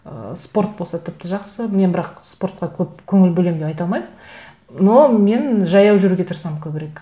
ы спорт болса тіпті жақсы мен бірақ спортқа көп көңіл бөлемін деп айта алмаймын но мен жаяу жүруге тырысамын көбірек